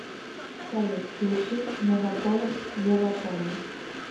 салют включи мегаполис ева польна